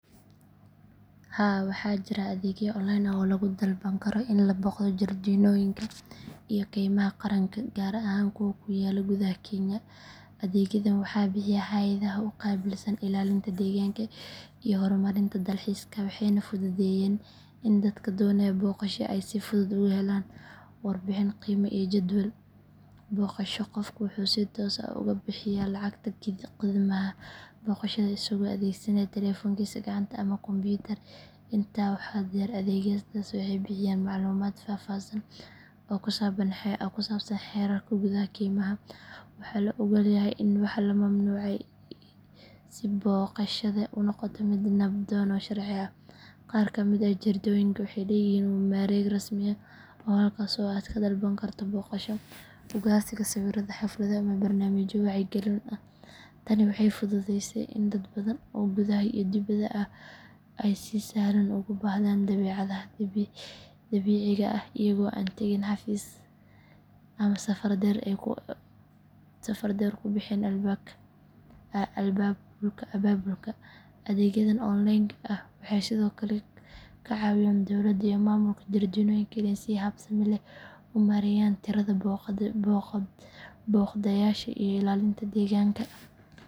Haa waxaa jira adeegyo online ah oo lagu dalban karo in la booqdo jardiinooyinka iyo keymaha qaranka gaar ahaan kuwa ku yaalla gudaha kenya. Adeegyadan waxaa bixiya hay’adaha u qaabilsan ilaalinta deegaanka iyo horumarinta dalxiiska waxayna fududeeyaan in dadka doonaya booqasho ay si fudud uga helaan warbixin, qiimo iyo jadwal booqasho. Qofku wuxuu si toos ah uga bixiyaa lacagta khidmadaha booqashada isagoo adeegsanaya taleefankiisa gacanta ama kombiyuutar. Intaa waxaa dheer, adeegyadaas waxay bixiyaan macluumaad faahfaahsan oo ku saabsan xeerarka gudaha keymaha, waxa la oggol yahay iyo waxa la mamnuucay si booqashada u noqoto mid nabdoon oo sharci ah. Qaar ka mid ah jardiinooyinka waxay leeyihiin mareeg rasmi ah halkaas oo aad ka dalban karto booqasho, ugaarsiga sawirrada, xaflado ama barnaamijyo wacyigelin ah. Tani waxay fududeysay in dad badan oo gudaha iyo dibedda ah ay si sahlan ugu baahdaan dabeecadda dabiiciga ah iyagoo aan tagin xafiis ama safar dheer ku bixin abaabulka. Adeegyadan online ah waxay sidoo kale ka caawiyaan dowladda iyo maamulka jardiinooyinka inay si habsami leh u maareeyaan tirada booqdayaasha iyo ilaalinta deegaanka.